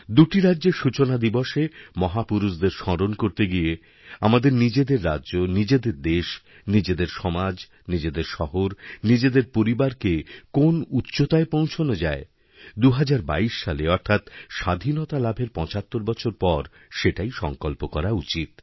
দুটি রাজ্যের সূচনাদিবসে মহাপুরুষদের স্মরণ করতে গিয়ে আমাদের নিজেদের রাজ্যনিজেদের দেশ নিজেদের সমাজ নিজেদের শহর নিজেদের পরিবারকে কোন উচ্চতায় পৌঁছনোযায় ২০২২ সালে অর্থাৎ স্বাধীনতা লাভের ৭৫ বছর পর সেটাই সংকল্প করা উচিত